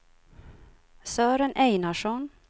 Sören Einarsson